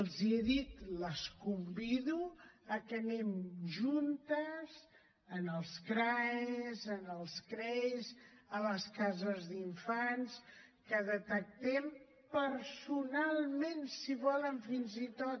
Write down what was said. els he dit les convido a que anem juntes als crae als crei a les cases d’infants que detectem personalment si volen fins i tot